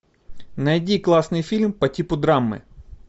найди классный фильм по типу драмы